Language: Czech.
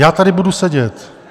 Já tady budu sedět.